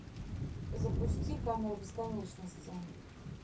запусти камера бесконечности